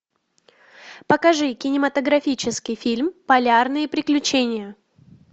покажи кинематографический фильм полярные приключения